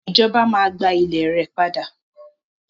Ìjọba máa gba ile rẹ padà.